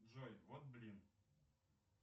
джой вот блин